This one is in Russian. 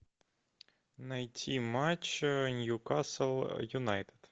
найти матч ньюкасл юнайтед